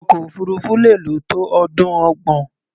Ọkọ̀-òfurufú lè lò tó ọdún ọgbọ̀n.